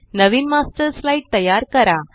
नवीन master slide तयार करा